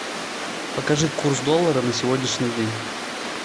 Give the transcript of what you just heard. покажи курс доллара на сегодняшний день